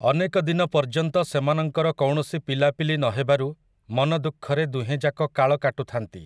ଅନେକ ଦିନ ପର୍ଯ୍ୟନ୍ତ ସେମାନଙ୍କର କୌଣସି ପିଲାପିଲି ନ ହେବାରୁ, ମନଦୁଃଖରେ, ଦୁହେଁଯାକ କାଳ କାଟୁଥାନ୍ତି ।